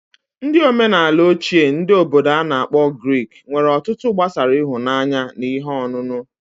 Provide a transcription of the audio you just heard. Ndi omenala oche ndi Obodo ana akpo Greek nwere otụtụ gbasara ịhụnanya na ihe onụnụ.